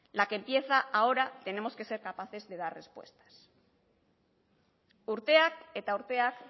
la que empieza ahora tenemos que ser capaces de dar respuestas urteak eta urteak